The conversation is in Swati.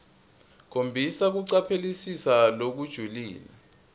khombisa kucaphelisisa lokujulile